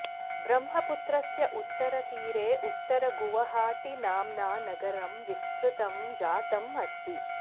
ब्रह्मपुत्रस्य उत्तरतीरे उत्तरगुवहाटी नाम्ना नगरं विस्तृतं जातम् अस्ति